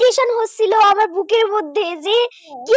কে